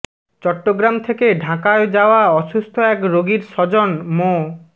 চট্টগ্রাম থেকে ঢাকায় যাওয়া অসুস্থ এক রোগীর স্বজন মো